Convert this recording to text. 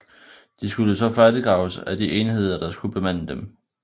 De skulle så færdiggraves af de enheder der skulle bemande dem